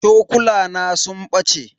Cokulana sun bace.